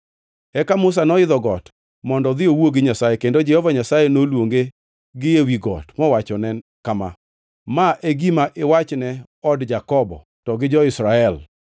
Eka Musa noidho got mondo odhi owuo gi Nyasaye kendo Jehova Nyasaye noluonge gi ewi got mowachone kama: “Ma e gima iwachne od Jakobo to gi jo-Israel.